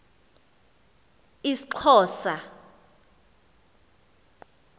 isxhosa